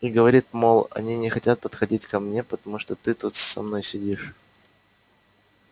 и говорит мол они не хотят подходить ко мне потому что ты тут со мной сидишь